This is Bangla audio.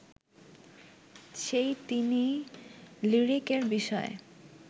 সেই তিনিই লিরিক-এর বিষয়ে